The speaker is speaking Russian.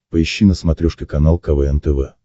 поищи на смотрешке канал квн тв